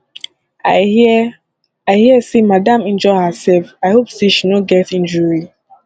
i hear i hear say madam injure herself i hope say she no get injury